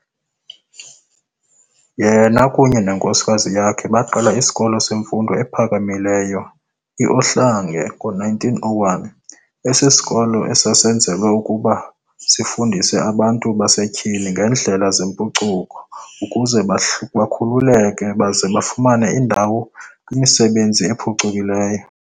Yena ekunye nenkosikazi yakhe baqala isikolo semfundo ephakamileyo i-Ohlange ngo-1901, esi sisikolo esasenzelwe ukuba sifundise aBantu basetyhini ngendlela zempucuko ukuze bakhululeke baze bafumane indawo kwisizwe esiphucukileyo.